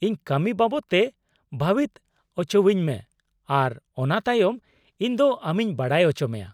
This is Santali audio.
-ᱤᱧ ᱠᱟᱹᱢᱤ ᱵᱟᱵᱚᱛ ᱛᱮ ᱵᱷᱟᱹᱵᱤᱛ ᱚᱪᱚᱣᱟᱹᱧ ᱢᱮ ᱟᱨ ᱚᱱᱟ ᱛᱟᱭᱚᱢ ᱤᱧᱫᱚ ᱟᱢᱤᱧ ᱵᱟᱰᱟᱭ ᱚᱪᱚᱢᱮᱭᱟ ᱾